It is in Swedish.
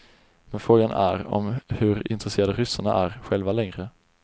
Men frågan är om hur intresserade ryssarna är själva längre.